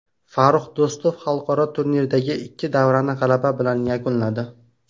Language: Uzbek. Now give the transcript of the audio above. Farrux Do‘stov xalqaro turnirdagi ikki davrani g‘alaba bilan yakunladi.